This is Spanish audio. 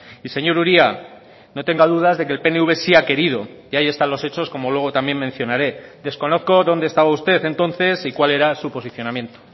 y señor uria no tenga dudas de que el pnv sí ha querido y ahí están los hechos como luego también mencionaré desconozco dónde estaba usted entonces y cuál era su posicionamiento